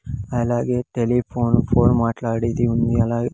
అలాగే telephone phone మాట్లాడింది ఉంది అలాగే.